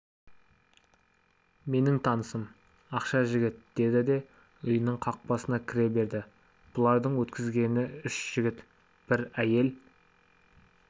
менің танысым ақша жігіт деді де үйінің қақпасына кіре берді бұлардың өткізгені үш жігіт бір әйел